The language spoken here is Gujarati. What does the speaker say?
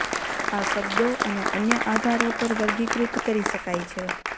આ શબ્દો અને અન્ય આધારો પર વર્ગીકૃત કરી શકાય છે